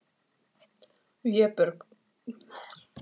Vébjörg, stilltu tímamælinn á sjö mínútur.